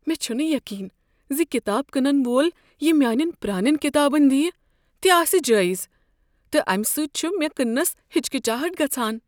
مےٚ چھنہٕ یقین زِ کتاب کٕنن وول یہِ میٛانین پرٛانین كِتابن دِیہِ تہِ آسہِ جٲیزٕ، تہٕ امہ سۭتۍ چھ مےٚ كٕننس ہچکچاہٹ گژھان۔